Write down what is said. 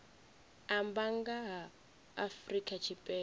amba nga ha afrika tshipembe